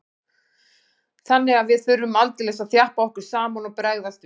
Þannig að við þurftum aldeilis að þjappa okkur saman og bregðast við.